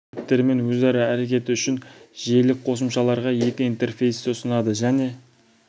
хаттамасының стек қызметтерімен өзара әрекеті үшін желілік қосымшаларға екі интерфейсті ұсынады және